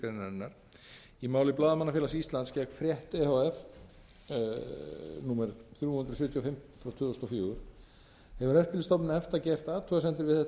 grein í máli blaðamannafélags íslands gegn frétt e h f númer þrjú hundruð sjötíu og fimm tvö þúsund og fimm hefur eftirlitsstofnun efta gert athugasemd við þetta